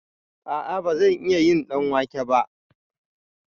A'a bazan iya yin ɗanwake ba